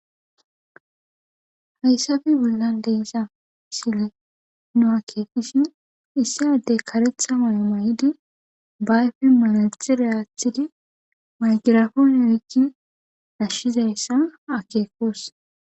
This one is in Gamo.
Hayssafe bollan deeza sile nu akeekishin issi addey karetha may may,idi bayfe manaidtxi reaathidi maygirafon erikki ashshizayssa akeekos.